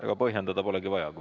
Ega põhjendada polegi vaja.